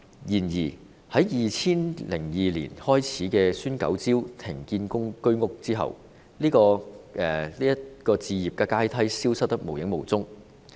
然而，自2002年開始推出"孫九招"停建居屋後，這個置業階梯消失得無影無蹤。